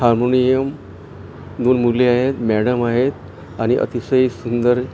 harmonium दोन मुले आहेत मॅडम आहेत आणि अतिशय सुंदर--